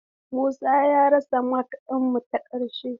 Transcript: Musa ya rasa makar mu ta ƙarshe.